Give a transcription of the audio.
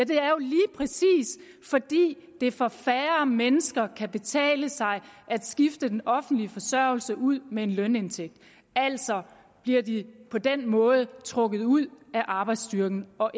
det er jo lige præcis fordi det for færre mennesker kan betale sig at skifte den offentlige forsørgelse ud med en lønindtægt altså bliver de på den måde trukket ud af arbejdsstyrken og